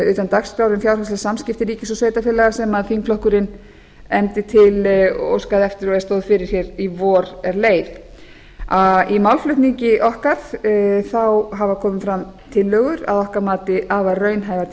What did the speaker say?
utan dagskrár um fjárhagsleg samskipti ríkis og sveitarfélaga sem þingflokkurinn efndi til óskaði eftir og stóð fyrir því í vor eð leið í málflutningi okkar hafa komið fram að okkar mati afar raunhæfar